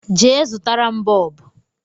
Je, zụtara m bọọbụ